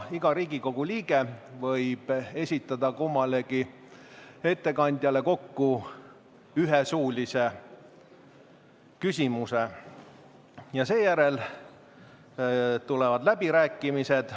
Iga Riigikogu liige võib esitada kummalegi ettekandjale kokku ühe suulise küsimuse ja seejärel tulevad läbirääkimised.